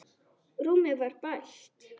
Rúmið var bælt.